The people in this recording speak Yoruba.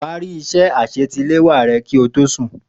Parí iṣẹ́ àṣetiléwá rẹ kí o tó sùn.